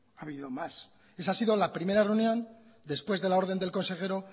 ha habido más esa ha sido la primera reunión después de la orden del consejero